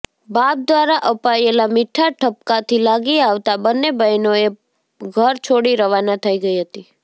બાપ દ્વારા અપાયેલા મીઠા ઠપકાથી લાગી આવતાં બંન્ને બહેનોએ ઘર છોડી રવાના થઈ ગઈ હતી